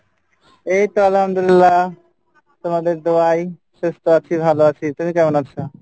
এইতো আলহামদুলিল্লা তোমাদের দুয়ায় সুস্থ আছি ভালো আছি তুমি কেমন আছো?